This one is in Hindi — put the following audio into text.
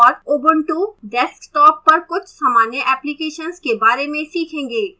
और ubuntu desktop पर कुछ सामान्य applications के बारे में सीखेंगे